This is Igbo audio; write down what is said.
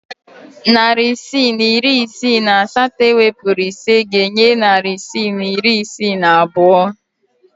Narị isii na iri isii na asaa ewepuru ise ga-enye narị isii na iri isii na abụọ.